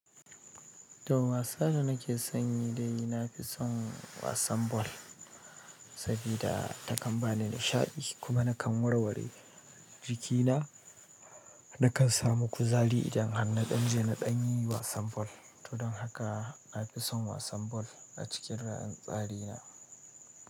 Toh, wasa da nake son yi dai, nafi son wasan ball sabida takan bani nishadi, kuma nakan warware jikina na kan samu kuzari idan harna ɗan je na ɗan yi wasan ball. To don haka na fi son wasan ball a cikin ra'ayin tsari na.